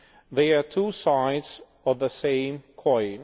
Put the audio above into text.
They are two sides of the same coin.